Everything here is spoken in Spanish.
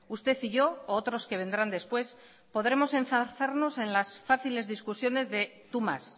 usted y yo u otros que vendrán después podremos enzarzarnos en las fáciles discusiones de tú más